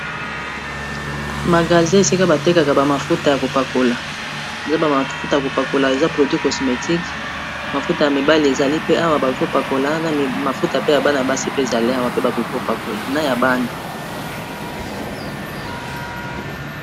magasi esika batekaka bamafuta ya kopakola eza bamafuta ya kopakola eza produit kosmetique mafuta ya mibali ezali pe awa baikopakola na mafuta pe ya bana basi pe zali awa pe bakoki kopakola na ya bana